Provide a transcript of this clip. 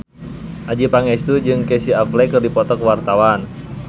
Adjie Pangestu jeung Casey Affleck keur dipoto ku wartawan